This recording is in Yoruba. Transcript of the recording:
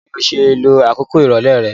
Báwoni o se lo àkókò ìrọ̀lẹ́ re